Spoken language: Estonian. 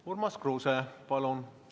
Urmas Kruuse, palun!